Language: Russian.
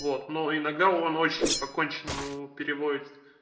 вот но иногда он очень по конченому переводит